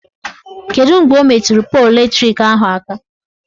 Kedu mgbe o meturu polu latrik ahụ aka?